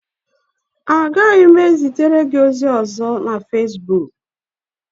Agaghị m ezitere gị ozi ọzọ na Fesbuk